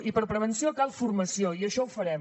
i per a prevenció cal formació i això ho farem